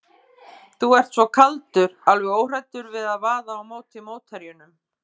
Þú ert svo kaldur, alveg óhræddur við að vaða á móti mótherjunum.